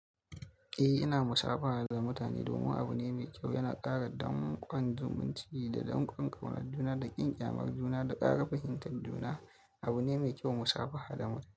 Eh, ina musafaha da mutane domin abu ne mai kyau. Yana ƙara damƙon zumunci da damƙon ƙaunatun da ƙin ƙyamar juna da ƙara fahimtar juna. Abu ne mai kyau musafaha da mutane.